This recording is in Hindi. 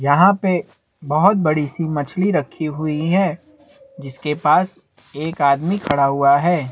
यहाँ पे बहोत बड़ी सी मछली रखी हुई है जिसके पास एक आदमी खड़ा हुआ है।